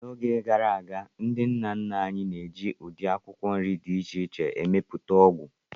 N'oge gara aga, ndị nna nna anyị na-eji ụdị akwụkwọ nri dị iche iche emepụta ọgwụ.